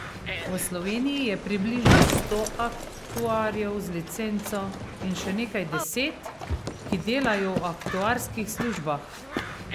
V Sloveniji je približno sto aktuarjev z licenco in še nekaj deset, ki delajo v aktuarskih službah.